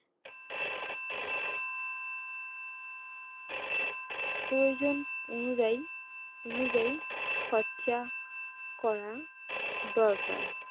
প্রয়োজন অনুযায়ী অনুযায়ী খরচা করা দরকার